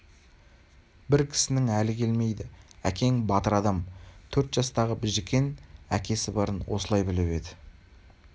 бір кісінің әлі келмейді әкең батыр адам төрт жастағы біжікен әкесі барын осылай біліп еді